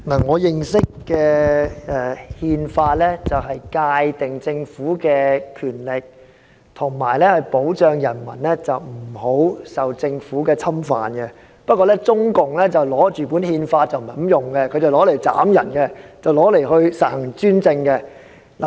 我認識的《憲法》是用來界定政府的權力和保障人民不受政府侵犯，但中共卻不是這樣用《憲法》，它拿來砍人，拿來實行專政。